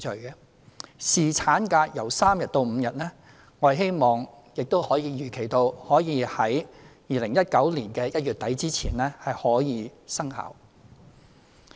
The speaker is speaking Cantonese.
就侍產假由3天增至5天，我們希望並預期可在2019年1月底前生效。